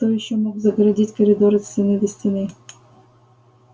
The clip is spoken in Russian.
кто ещё мог загородить коридор от стены до стены